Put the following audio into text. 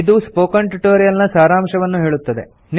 ಇದು spoken tutorial ನ ಸಾರಾಂಶವನ್ನು ಹೇಳುತ್ತದೆ